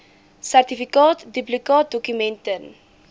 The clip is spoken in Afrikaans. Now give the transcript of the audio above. sertifikaat duplikaatdokument ten